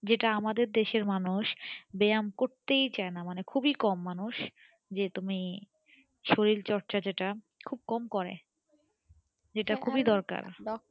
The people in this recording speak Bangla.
যেটা আমাদের দেশের মানুষ ব্যায়াম করতেই চাইনা মানে খুবই কম মানুষ যে তুমি শরীর চর্চার যেটা খুবই কম করে যেটা খুবই দরকার